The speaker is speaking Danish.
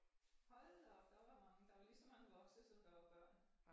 Hold da op der var mange der var lige så mange voksne som der var børn